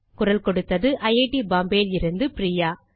குரல் கொடுத்தது ஐட் பாம்பே லிருந்து பிரியா